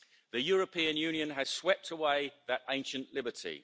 The European Union has swept away that ancient liberty.